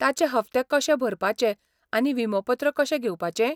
ताचे हप्ते कशे भरपाचे आनी विमोपत्र कशें घेवपाचें?